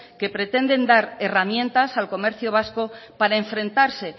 que pretenden dar herramientas al comercio vasco para enfrentarse